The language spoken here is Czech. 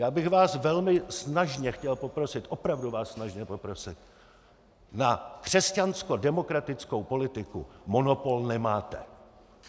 Já bych vás velmi snažně chtěl poprosit, opravdu vás snažně poprosit, na křesťanskodemokratickou politiku monopol nemáte.